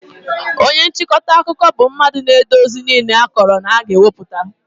Onye nchịkọta akụkọ bụ mmadụ na-ede ozi niile a kọrọ na a ga-ewepụta